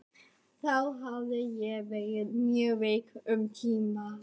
Þá hafði ég verið mjög veik um tíma.